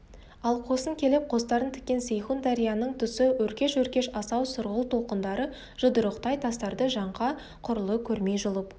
ал қосын келіп қостарын тіккен сейхун дарияның тұсы өркеш-өркеш асау сұрғылт толқындары жұдырықтай тастарды жаңқа құрлы көрмей жұлып